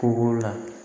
Kɔgɔ la